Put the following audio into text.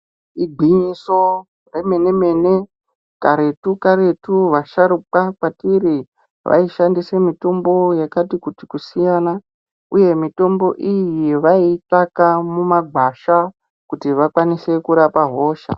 Igwinyiso remene-mene karetu karetu vasharukwa kwatiri vaishandise mitombo yakati kuti kusiyana uye mitombo iyi vaiitsvaka mumagwasha kuti vakwanise kurapa hosha.